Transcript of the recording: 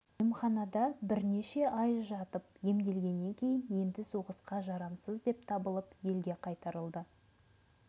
емханада бірнеше ай жатып емделгеннен кейін енді соғысқа жарамсыз деп табылып елге қайтарылды